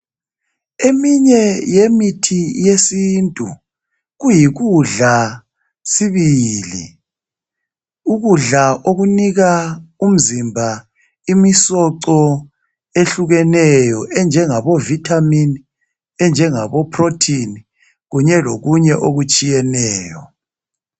Eminye yemithi yesintu, kuyikudla sibili. Ukudla okunika umzimba imisoco ehlukeneyo, enjengabo vithamini, enjengabo pholothini kunye lokunye okutshiyeneyo.